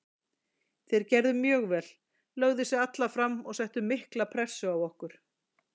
Þeir gerðu mjög vel, lögðu sig alla fram og settu mikla pressu á okkur.